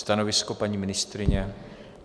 Stanovisko, paní ministryně?